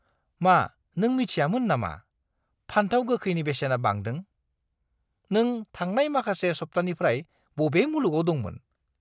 मा नों मिथियामोन नामा फानथाव गोखैनि बेसेना बांदों? नों थांनाय माखासे सप्तानिफ्राय बबे मुलुगाव दंमोन?